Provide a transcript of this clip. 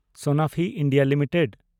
Sanofi India limited